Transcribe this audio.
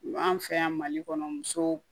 An fɛ yan mali kɔnɔ muso